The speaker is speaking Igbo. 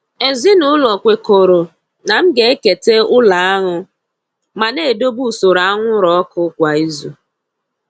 Ezinụlọ kwekọrọ na m ga-ekete ụlo aṅụ ma na-edobe usoro anwụrụ ọkụ kwa izu.